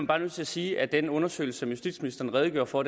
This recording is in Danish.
bare nødt til at sige at den undersøgelse som justitsministeren redegjorde for